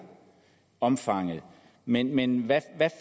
omfanget men men hvad